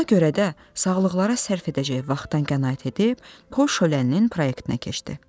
Buna görə də sağlıqlara sərf edəcəyi vaxtdan qənaət edib, pul şöləninin proyektinə keçdi.